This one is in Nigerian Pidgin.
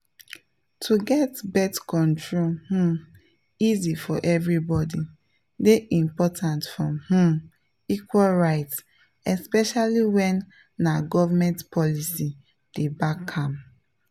to get birth control um easy for everybody dey important for um equal rights especially when na government policy dey back am.